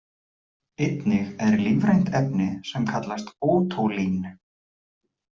Einnig er lífrænt efni sem kallast ótólín.